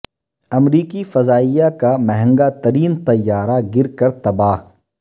امریکی فضائیہ کا مہنگا ترین طیارہ گر کر تباہ